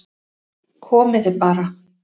Komið þið bara